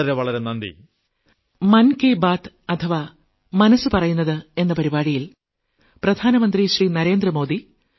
വളരെ വളരെ നന്ദി